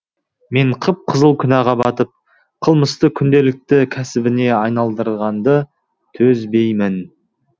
мен қып қызыл күнәға батып қылмысты күнделікті кәсібіне айналдырғанды төзбеймін